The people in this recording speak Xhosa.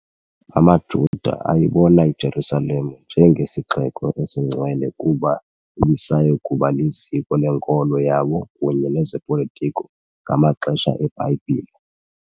AmaJuda ayibona iJerusalem njengesixeko esingcwele kuba ibisaya kuba liziko lenkolo yabo kunye nezopolotiko ngamaxesha eBhayibhile.